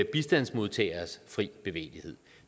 bistandsmodtageres frie bevægelighed